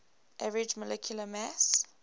average molecular mass